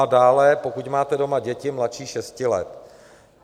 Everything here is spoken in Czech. A dále, pokud máte doma děti mladší šesti let.